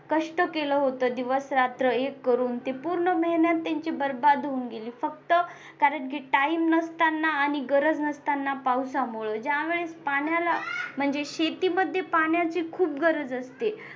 कष्ट केलं होतं दिवस-रात्र एक करून ते पूर्ण मेहनत यांची बरबाद होऊन गेली फक्त कारण time नसताना आणि गरज नसताना पावसामुळे ज्यावेळेस पाण्याला म्हणजे शेतीमध्ये पाण्याची खूप गरज असते.